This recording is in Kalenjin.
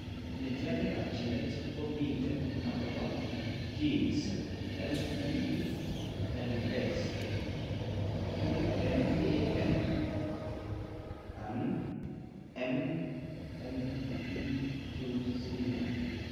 Mityaaniikap genetic ko miten akopo genes AMELX, ENAM, and MMP20.